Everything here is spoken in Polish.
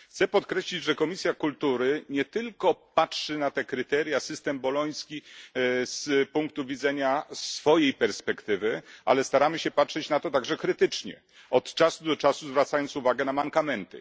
Chcę podkreślić, że Komisja Kultury nie tylko patrzy na te kryteria, system boloński ze swojej perspektywy, ale staramy się patrzeć na to także krytycznie, od czasu do czasu zwracając uwagę na mankamenty.